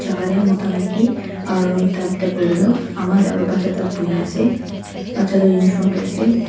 mota maki aro ekta table tae toh ama aro bacha ekta buhina ase bacha toh uniform tae ase.